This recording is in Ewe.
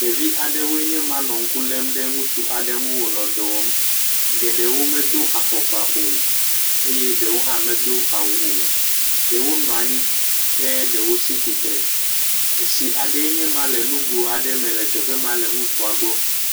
Ɖevi aɖwoe nye ma nɔ ŋku lém ɖe ŋutsu aɖe nu wo nɔ dɔ wɔm. Geɖewo medo afɔkpa o eye ɖewo hã medo awu o. Ɖewo nɔ anyi ke ɖewo tsi tsitre. Etsi aɖee nye ma le nugo aɖe me le teƒe ma le ŋutsua gbɔ.